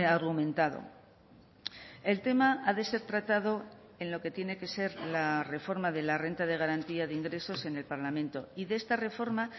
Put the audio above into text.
argumentado el tema ha de ser tratado en lo que tiene que ser la reforma de la renta de garantía de ingresos en el parlamento y de esta reforma